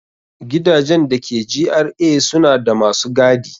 Gidajen da ke GRA suna da masu gadi.